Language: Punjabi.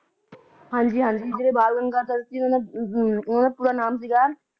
ਹਾਂਜੀ ਹਾਂਜੀ ਜਿਹੜੇ ਬਾਲ ਗੰਗਾਹਦਰ ਸੀ ਉਹ ਓਹਨਾ ਦਾ ਪੂਰਾ ਨਾਮ ਸੀਗਾ